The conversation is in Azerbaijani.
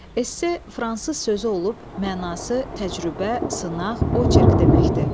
Esse fransız sözü olub, mənası təcrübə, sınaq, oçerk deməkdir.